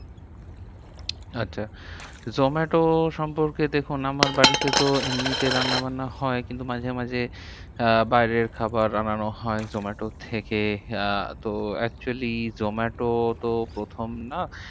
আচ্ছা zomato সম্পর্কে দেখুন আমার বাড়িতে তো এমনিতে রান্না বান্না হয়। কিন্তু মাঝে মাঝে আহ বাইরের খাবার আনানো হয় zomato র থেকে। আহ তো actually জোম্যাটো তো প্রথম না,